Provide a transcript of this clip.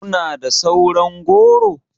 Kuna da sauran goro?